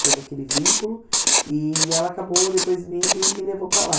fez aquele vínculo, e ela acabou depois vindo e me levou para lá.